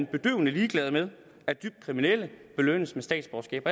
bedøvende ligeglade med at dybt kriminelle belønnes med statsborgerskab